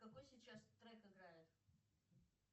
какой сейчас трек играет